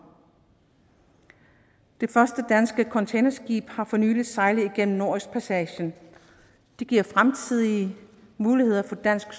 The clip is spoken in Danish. det første danske containerskib har for nylig sejlet gennem nordøstpassagen det giver fremtidige muligheder for dansk